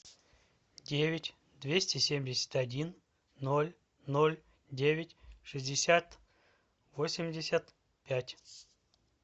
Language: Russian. девять двести семьдесят один ноль ноль девять шестьдесят восемьдесят пять